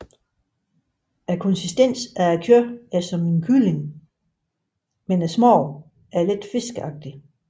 Konsistensen af kødet er som kylling og smagen er let fiskeagtig